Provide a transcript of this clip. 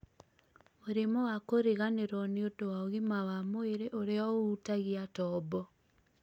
mũrimũ wa kũriganĩrwo nĩ ũndũ wa ũgima wa mwĩrĩ ũrĩa ũhutagia tombo